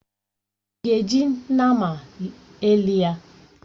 Ị ga-eji nnama elị ya!